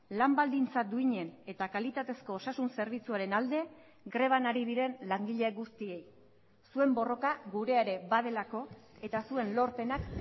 lan baldintza duinen eta kalitatezko osasun zerbitzuaren alde greban ari diren langile guztiei zuen borroka gurea ere badelako eta zuen lorpenak